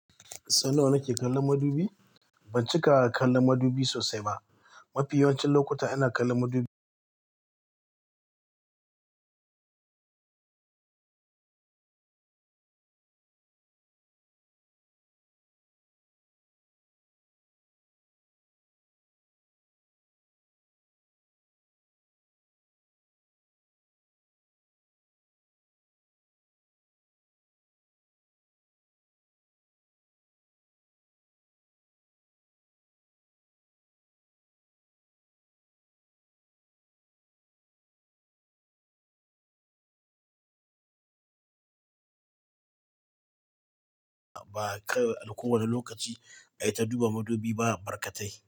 Sau nawa nake kallon madubi? Ban cika kallon madubi sosai ba. Mafi yawancin lokuta ina kallon madubi, ba kai a kowane lokaci ai ta duba madubi ba barkatai.